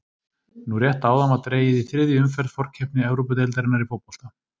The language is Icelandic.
Nú rétt áðan var dregið í þriðju umferð forkeppni Evrópudeildarinnar í fótbolta.